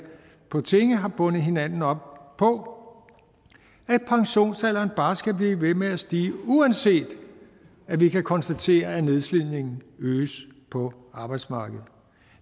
på tinge har bundet hinanden op på at pensionsalderen bare skal blive ved med at stige uanset at vi kan konstatere at nedslidningen øges på arbejdsmarkedet